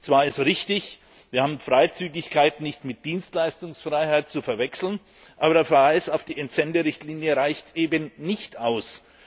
Zwar ist es richtig, wir haben Freizügigkeit nicht mit Dienstleistungsfreiheit zu verwechseln, aber der Verweis auf die Entsenderichtlinie reicht eben nicht aus.